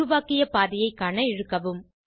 உருவாக்கிய பாதைய காண இழுக்கவும்